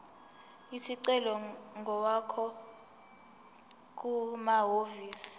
isicelo ngokwakho kumahhovisi